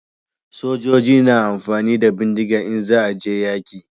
Sojoji na amfani da bindiga in za a je yaƙi